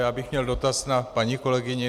Já bych měl dotaz na paní kolegyni.